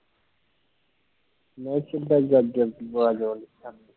ਮੈਂ ਕਿੱਦਾਂ ਗਾਜਰ ਦੀ ਅਵਾਜ਼